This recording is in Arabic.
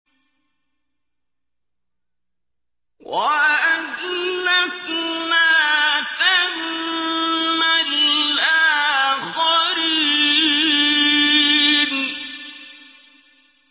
وَأَزْلَفْنَا ثَمَّ الْآخَرِينَ